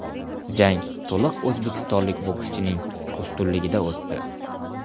Jang to‘liq o‘zbekistonlik bokschining ustunligida o‘tdi.